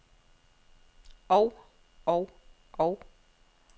og og og